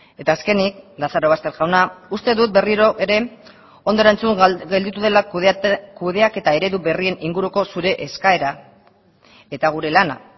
eta azkenik lazarobaster jauna uste dut berriro ere ondo erantzun gelditu dela kudeaketa eredu berrien inguruko zure eskaera eta gure lana